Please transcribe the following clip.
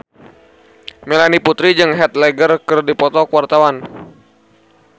Melanie Putri jeung Heath Ledger keur dipoto ku wartawan